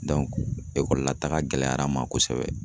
ekɔlila taga gɛlɛya n ma kosɛbɛ